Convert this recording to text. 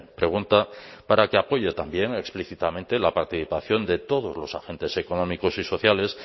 pregunta para que apoye también explícitamente la participación de todos los agentes económicos y sociales